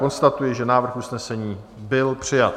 konstatuji, že návrh usnesení byl přijat.